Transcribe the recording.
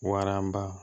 Waranba